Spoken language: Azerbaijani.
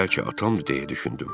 Bəlkə atamdır, deyə düşündüm.